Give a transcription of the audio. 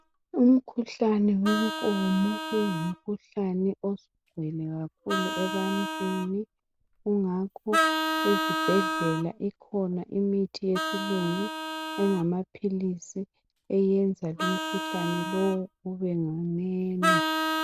Umkhuhlane wenkomo, ungumkhuhlane osugcwele kakhulu ebantwini kungakho ezibhedlela ikhona imithi yesilungu, engamaphilisi eyenza lumkhuhlane lowu ubenganeno.